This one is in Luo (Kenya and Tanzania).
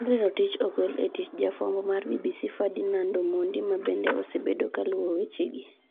Henry Rotich ogol e tich"Jafwambo mar BBC Ferdinand Omondi ma bende osebedo kaluwo weche gi.